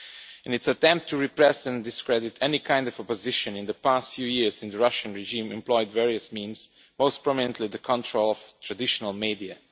In its attempt to repress and discredit any kind of opposition, in the past few years the Russian regime has employed various means, most prominently the control of traditional media.